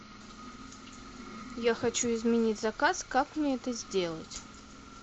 я хочу изменить заказ как мне это сделать